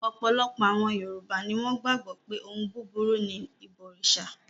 Ọ̀pọ̀lọpọ̀ àwọn Yorùbá ni wọ́n gbàgbọ́ pé ohun búburú ni ìbọrìṣà.